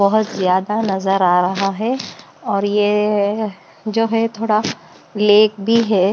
बहुत ज्यादा नज़र आ रहा है और ये जो है थोड़ा लेक भी है।